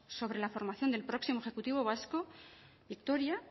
sobre la formación del próximo ejecutivo vasco victoria